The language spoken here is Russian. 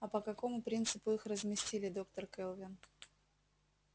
а по какому принципу их разместили доктор кэлвин